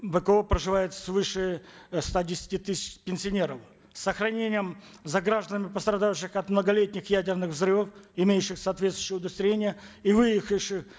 вко проживают свыше э ста десяти тысяч пенсионеров с сохранением за гражданами пострадавших от многолетних ядерных взрывов имеющих соответствующие удостоверения и выехавших